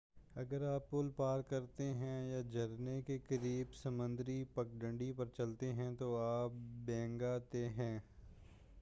اگر آپ پل پار کرتے ہیں یا جھرنے کے قریب سمندری پگڈنڈی پر چلتے ہیں تو آپ بھیگنا طے ہے